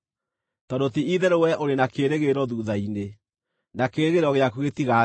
Tondũ ti-itherũ wee ũrĩ na kĩĩrĩgĩrĩro thuutha-inĩ, na kĩĩrĩgĩrĩro gĩaku gĩtigaathira.